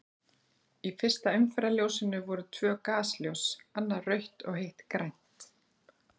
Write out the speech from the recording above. Í fyrsta umferðarljósinu voru tvö gasljós, annað rautt og hitt grænt.